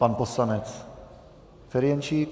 Pan poslanec Ferjenčík.